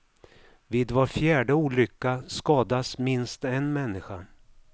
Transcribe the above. Vid var fjärde olycka skadas minst en människa.